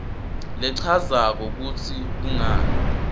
lechazako kutsi kungani